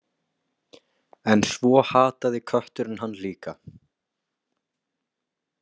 En svo hataði kötturinn hann líka.